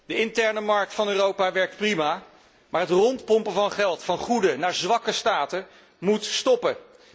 De interne markt van Europa werkt prima, maar het rondpompen van geld van goede naar zwakke staten moet stoppen.